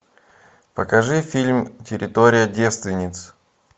покажи фильм территория девственниц